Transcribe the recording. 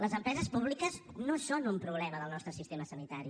les empreses públiques no són un problema del nostre sistema sanitari